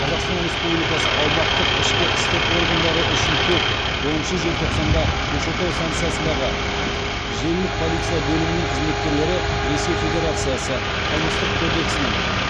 қазақстан республикасы аумақтық ішкі істер органдары үшін төрт оныншы желтоқсанда көкшетау станциясындағы желілік полиция бөлімінің қызметкерлері ресей федерациясы қылмыстық кодексінің